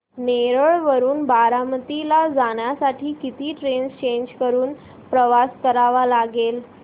नेरळ वरून बारामती ला जाण्यासाठी किती ट्रेन्स चेंज करून प्रवास करावा लागेल